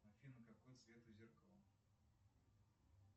афина какой цвет у зеркала